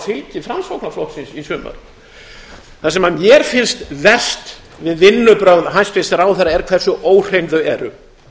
fylgi framsóknarflokksins í sumar það sem mér finnst verst við vinnubrögð hæstvirts ráðherra er hversu óhrein þau eru